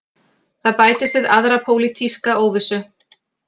Það bætist við aðra pólitíska óvissu